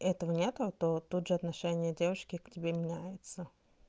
это нет то тут же отношение девушки к тебе меняется